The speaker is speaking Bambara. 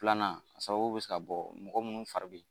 Pilanan a sababu bɛ se ka bɔ mɔgɔ minnu fari bi